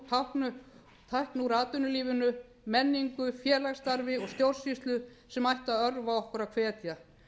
eru jákvæð teikn úr atvinnulífinu menningu félagsstarfi og stjórnsýslu sem ættu að örva okkur og hvetja